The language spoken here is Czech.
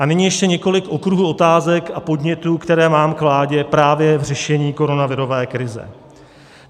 A nyní ještě několik okruhů otázek a podnětů, které mám k vládě právě k řešení koronavirové krize.